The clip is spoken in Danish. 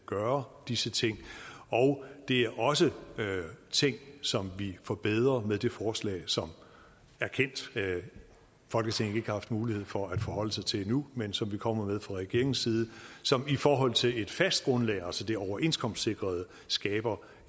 gøre disse ting og det er også ting som vi forbedrer med det forslag som erkendt folketinget ikke har haft mulighed for at forholde sig til endnu men som vi kommer med fra regeringens side som i forhold til et fast grundlag altså det overenskomstsikrede skaber